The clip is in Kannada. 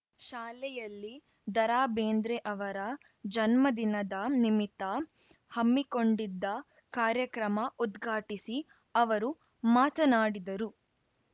ಶಾಲೆಯಲ್ಲಿ ದರಾಬೇಂದ್ರೆ ಅವರ ಜನ್ಮದಿನದ ನಿಮಿತ್ತ ಹಮ್ಮಿಕೊಂಡಿದ್ದ ಕಾರ್ಯಕ್ರಮ ಉದ್ಘಾಟಿಸಿ ಅವರು ಮಾತನಾಡಿದರು